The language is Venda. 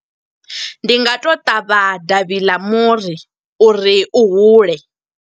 Ndi nga to ṱavha davhi ḽa muri, uri u hule.